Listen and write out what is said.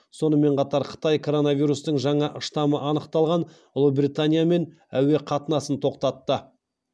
сонымен қатар қытай коронавирустың жаңа штаммы анықталған ұлыбританиямен әуе қатынасын тоқтатты